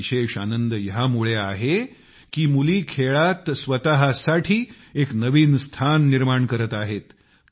मला विशेष आनंद ह्यामुळे आहे की मुली खेळात स्वत साठी एक नवीन स्थान बनवत आहेत